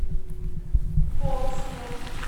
холмске